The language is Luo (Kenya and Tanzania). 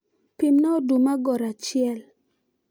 pimna oduma gor achiel